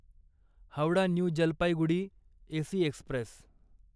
Howrah new Jalpaiguri AC Express